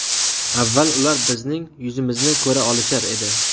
Avval ular bizning yuzimizni ko‘ra olishar edi.